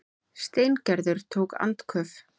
Steingerður tók andköf.